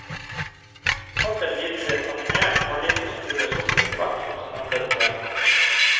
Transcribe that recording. Kortet viser en animert halvliter som fylles opp etterhvert som du samler poeng.